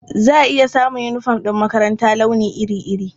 Za a iya samun yunifom na makaranta launi iri-iri.